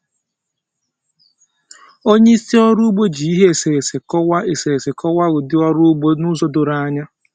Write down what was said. Onye isi ọrụ ugbo ji ihe eserese kọwaa eserese kọwaa ụdị ọrụ ugbo n'ụzọ doro anya.